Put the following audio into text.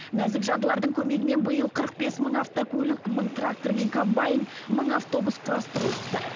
нәзік жандылардың көмегімен биыл қырық бес мың автокөлік мың трактор мен комбайн мың автобус құрастырылыпты